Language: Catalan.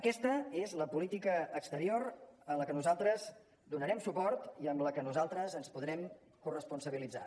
aquesta és la política exterior a què nosaltres donarem suport i amb la que nosaltres ens podrem corresponsabilitzar